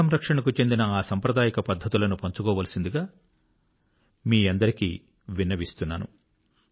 జలసంరక్షణ కు చెందిన ఆ సాంప్రదాయిక పద్ధతులను షేర్ చేసుకోవాల్సిందిగా నేను మీ అందరికీ విన్నవిస్తున్నాను